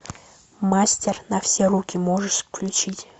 мастер на все руки можешь включить